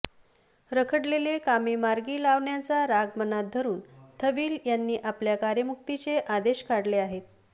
रखडलेले कामे मार्गी लावल्याचा राग मनात धरून थविल यांनी आपल्या कार्यमुक्तीचे आदेश काढले आहेत